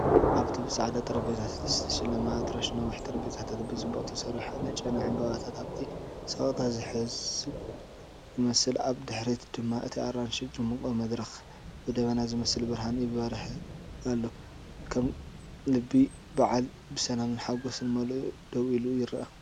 "ኣብቲ ብጻዕዳ ጠረጴዛታት ዝተሸለመ ኣዳራሽ ነዊሕ ጠረጴዛታት ብጽቡቕ ተሰሪዑ ኣሎ"።ጨና ዕምባባታት ኣብቲ ስቕታ ዝሕንበብ ይመስል፤ ኣብ ድሕሪት ድማ እቲ ኣራንሺን ድሙቕን መድረኽ ብደበና ዝመስል ብርሃን ይበርህ ኣሎ። ከም ልቢ በዓል ብሰላምን ሓጐስን መሊኡ ደው ኢሉ ይረአ።"